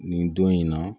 Nin don in na